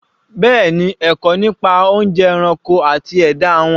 Bẹ́ẹ̀ni, pelu ẹ̀kọ́ nípa oúnjẹ ẹranko àti ẹ̀dá won